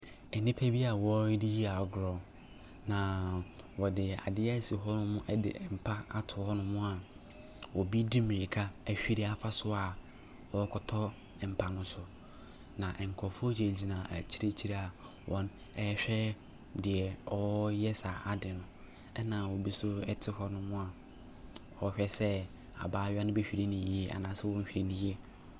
Nnipa bi a wɔredi agorɔ, na wɔde adeɛ asi hɔnom de mpa ato hɔnom a obi di mmirika ahuru afa so a ɔrekɔtɔ mpa no so, na nkurɔfoɔ gyinagyina akyirikyiri a wɔrehwɛ deɛ ɔreyɛ saa ade no, ɛnna obi nso te hɔnom a ɔrehwɛ sɛ abayewa no bɛhuri no yie anaasɛ ɔnhuri no yie.